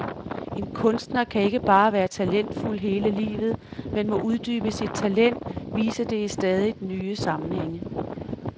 En kunstner kan ikke bare være talentfuld hele livet, men må uddybe sit talent, vise det i stadigt nye sammenhænge.